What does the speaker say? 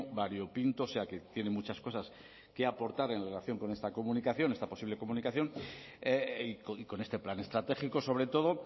variopinto o sea que tiene muchas cosas que aportar en relación con esta comunicación esta posible comunicación y con este plan estratégico sobre todo